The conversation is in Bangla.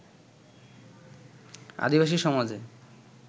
আদিবাসী সমাজে